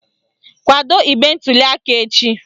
Kwado igbe ntuliaka echi